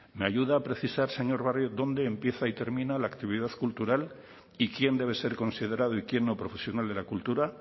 me ayuda a precisar señor barrio dónde empieza y termina la actividad cultural y quién debe ser considerado y quién no profesional de la cultura